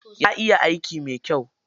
Ya iya aiki mai kyai.